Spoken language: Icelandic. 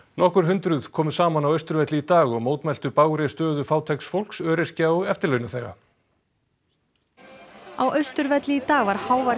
nokkur hundruð komu saman á Austurvelli í dag og mótmæltu bágri stöðu fátæks fólks öryrkja og eftirlaunaþega á Austurvelli í dag var hávær